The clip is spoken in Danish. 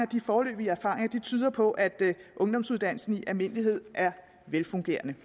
de foreløbige erfaringer tyder på at ungdomsuddannelsen i almindelighed er velfungerende